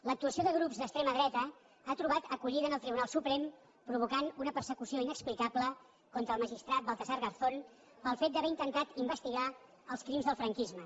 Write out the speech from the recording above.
l’actuació de grups d’extrema dreta ha trobat acollida en el tribunal suprem i ha provocat una persecució inexplicable contra el magistrat baltasar garzón pel fet d’haver intentat investigar els crims del franquisme